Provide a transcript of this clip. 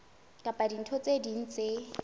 kapa dintho tse ding tse